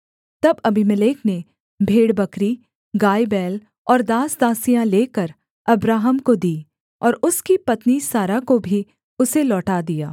तब अबीमेलेक ने भेड़बकरी गायबैल और दासदासियाँ लेकर अब्राहम को दीं और उसकी पत्नी सारा को भी उसे लौटा दिया